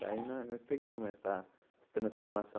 Daí nós nós pegamos essa transformação.